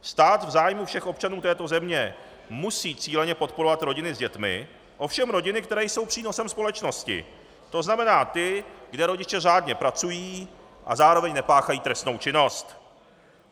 Stát v zájmu všech občanů této země musí cíleně podporovat rodiny s dětmi, ovšem rodiny, které jsou přínosem společnosti, to znamená ty, kde rodiče řádně pracují a zároveň nepáchají trestnou činnost.